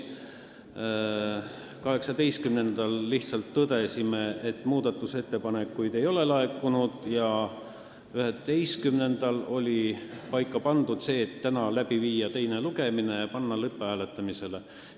18. detsembril me lihtsalt tõdesime, et muudatusettepanekuid ei olnud laekunud, 11. detsembril sai paika pandud see, et täna tuleks läbi viia teine lugemine ja panna eelnõu lõpphääletusele.